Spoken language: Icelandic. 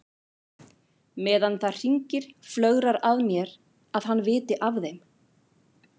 Meðan það hringir flögrar að mér að hann viti af þeim.